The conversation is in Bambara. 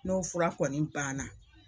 N'o fura kɔni banna.